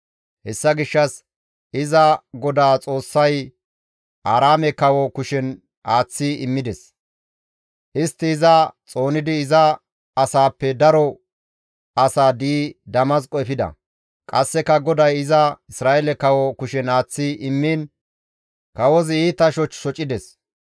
Hessa gishshas iza GODAA Xoossay Aaraame kawo kushen aaththi immides; istti iza xoonidi iza asaappe daro asaa di7i Damasqo efida; qasseka GODAY iza Isra7eele kawo kushen aaththi immiin kawozi iita shoch shocides.